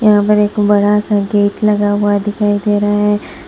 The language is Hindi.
यहां पर एक बड़ा सा गेट लगा हुआ दिखाई दे रहा है।